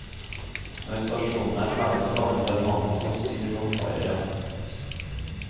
Når stasjonen er ferdig, skal den bemannes av syv romfarere.